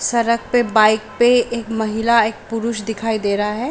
सरक पे बाइक पे एक महिला एक पुरुष दिखाई दे रहा है।